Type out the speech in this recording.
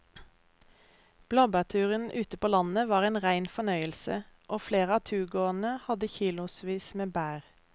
Blåbærturen ute på landet var en rein fornøyelse og flere av turgåerene hadde kilosvis med bær.